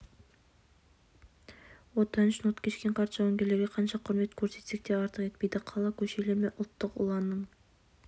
отан үшін от кешкен қарт жауынгерлерге қанша құрмет көрсетсек те артық етпейді қала көшелерімен ұлттық ұланның